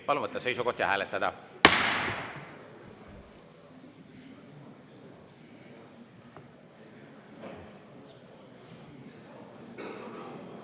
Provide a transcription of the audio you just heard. Palun võtta seisukoht ja hääletada!